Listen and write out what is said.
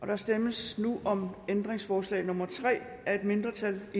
der stemmes nu om ændringsforslag nummer tre af et mindretal og